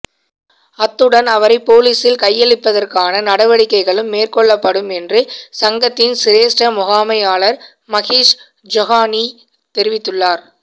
அத்துடன் அவரை பொலிஸில் கையளிப்பதற்கான நடவடிக்கைகளும் மேற்கொள்ளப்படும் என்று சங்கத்தின் சிரேஸ்ட முகாமையாளர் மஹீஸ் ஜொஹானி தெரிவித்துள்ளார்